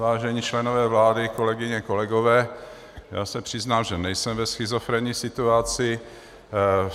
Vážení členové vlády, kolegyně, kolegové, já se přiznám, že nejsem ve schizofrenní situaci.